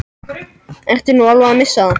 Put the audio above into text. Ertu nú alveg að missa það?